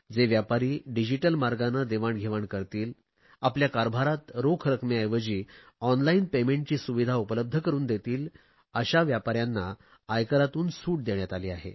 जे व्यापारी डिजिटल मार्गांने देवाणघेवाण करतील आपल्या कारभारात रोख रकमेऐवजी ऑनलाईन पेमेंटची सुविधा उपलब्ध करुन देतील अशा व्यापाऱ्यांना आयकरातून सूट देण्यात आली आहे